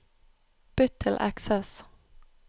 Bytt til Access